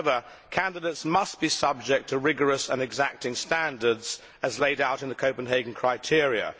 However, candidates must be subject to rigorous and exacting standards as laid out in the Copenhagen criteria.